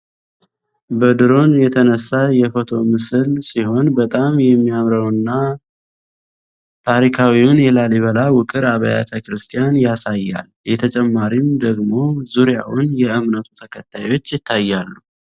በድሩሮን የተነሳ የፎቶ ምስል ምስል ሲሆን በጣም የማያምረውን እና ታሪካዊውን የላሊበላ ውቅር አብያተ ቤተክርስቲያን ያሳያል የተጨማሪም ደግሞ ዙሪያውን የእምነቱ ተከታዮች ይታያሉ።